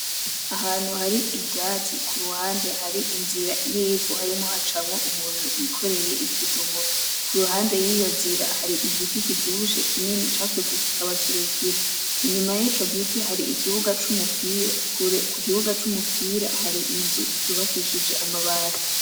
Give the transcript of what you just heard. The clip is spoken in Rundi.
Ahantu hari ivyatsi kuruhande hari inzira y'ivu harimwo hacamwo umuntu yikoreye ikidumu, kuruhande yiyo nzira hari igiti kivyibushe kinini cakuze kikaba kirekire , inyuma y'ico giti hari ikibuga c'umupira , kure ku kibuga c'umupira hari inzu zubakishije amabati.